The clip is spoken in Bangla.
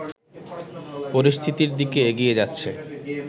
পরিস্থিতির দিকে এগিয়ে যাচ্ছে